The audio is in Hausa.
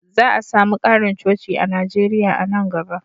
Za a sami ƙarin coci a Najeriya a nan gaba.